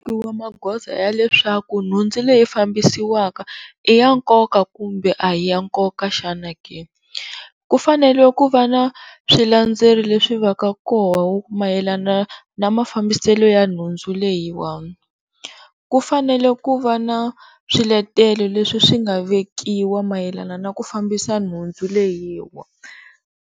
magoza ya leswaku nhundzu leyi fambisiwaka i ya nkoka kumbe a hi ya nkoka xana ke? Kufanele ku va na swilandzelo leswi va ka kona mayelana na mafambiselo ya nhundzu leyi, ku fanele ku va na swiletelo leswi swi nga vekiwa mayelana na ku fambisa nhundzu leyiwani.